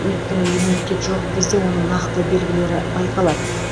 өйткені иммунитет жоқ кезде оның нақты белгілері байқалады